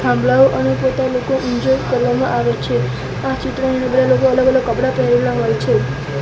થાંભલાઓ અને એન્જોય કરવામાં આવે છે આ ચિત્રની અંદર લોકો અલગ-અલગ કપડા પહેરેલા હોય છે.